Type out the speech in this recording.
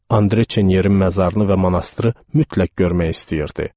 Andre Çenyerin məzarını və monastırı mütləq görmək istəyirdi.